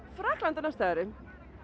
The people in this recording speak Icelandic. Frakkland á næsta ári